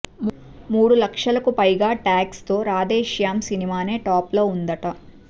మూడు లక్షలకు పైగా ట్యాగ్స్ తో రాధే శ్యామ్ సినిమానే టాప్ లో ఉందట